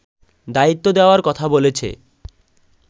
দায়িত্ব দেওয়ার কথা বলেছে